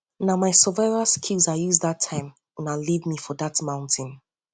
na my survival skills i use dat time una leave me for dat mountain